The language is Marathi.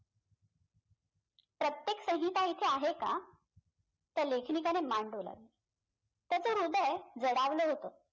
प्रत्येक संहिता इथे आहे का त्या लेखनिकाने मान डोलावली त्याचं हृदय जडावलं होतं